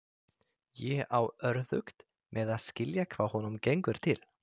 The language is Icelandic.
Ég á örðugt með að skilja hvað honum gengur til.